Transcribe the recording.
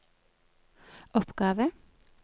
oppgave